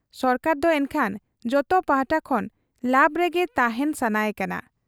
ᱥᱚᱨᱠᱟᱨ ᱫᱚ ᱮᱱᱠᱷᱟᱱ ᱡᱚᱛᱚ ᱯᱟᱦᱴᱟ ᱠᱷᱚᱱ ᱞᱟᱵᱽ ᱨᱮᱜᱮ ᱛᱟᱦᱮᱸᱱ ᱥᱟᱱᱟᱭ ᱠᱟᱱᱟ ?